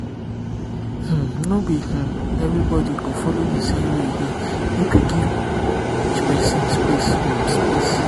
um no um be everybody go follow the same way heal make we give each person um space um space